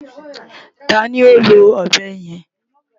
Ta ni ó lo ọ̀bẹ yẹn?